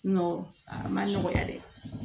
a ma nɔgɔya dɛ